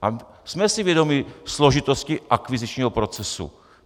A jsme si vědomi složitosti akvizičního procesu.